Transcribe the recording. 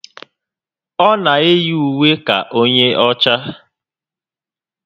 O na eyi ùwé ka onye ọchá